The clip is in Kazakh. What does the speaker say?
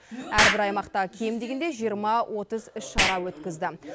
әрбір аймақта кем дегенде жиырма отыз іс шара өткізді